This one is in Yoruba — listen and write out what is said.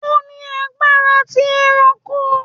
O ni agbara ti eranko